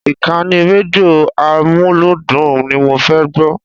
Ìkànnì rédíò amúlúdùn ni mo fẹ́ gbọ́.